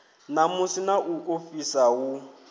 namusi na u ofhisa hu